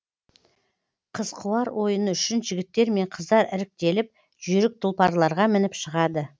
қыз қуар ойыны үшін жігіттер мен қыздар іріктеліп жүйрік тұлпарларға мініп шығады